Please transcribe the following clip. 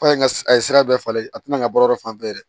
F'a ka a ye sira bɛɛ falen a tina ka bɔ yɔrɔ fan fɛ